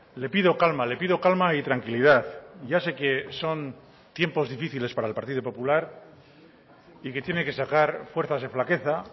le pido calma le pido calma y tranquilidad ya sé que son tiempos difíciles para el partido popular y que tiene que sacar fuerzas de flaqueza